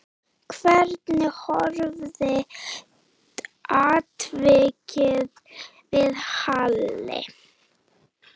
Hvernig horfði atvikið við Halli?